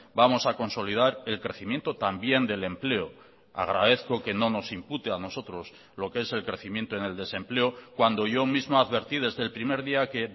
vamos a consolidar el crecimiento también del empleo agradezco que no nos impute a nosotros lo que es el crecimiento en el desempleo cuando yo mismo advertí desde el primer día que